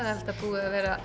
búið